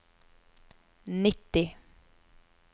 nitti